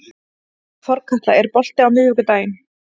Þorkatla, er bolti á miðvikudaginn?